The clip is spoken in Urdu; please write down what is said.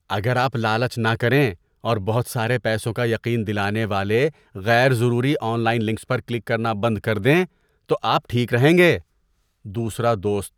اگر آپ لالچ نہ کریں اور بہت سارے پیسوں کا یقین دلانے والے غیر ضروری آن لائن لنکس پر کلک کرنا بند کر دیں تو آپ ٹھیک رہیں گے۔ (دوسرا دوست)